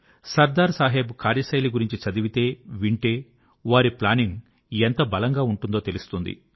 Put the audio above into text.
సర్దార్ సాహెబ్ కార్యశైలి గురించి చదివితే వింటే వారి ప్లానింగ్ ఎంత బలంగా ఉంటుందో తెలుస్తుంది